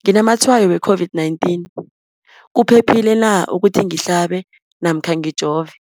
nginamatshayo we-COVID-19, kuphephile na ukuthi ngihlabe namkha ngijove?